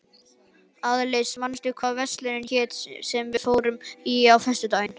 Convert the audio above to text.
Aðils, manstu hvað verslunin hét sem við fórum í á föstudaginn?